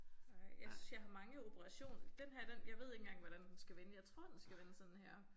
Ej jeg synes jeg har mange operation denne her den jeg ved ikke engang hvordan den skal vende jeg tror den skal vende sådan her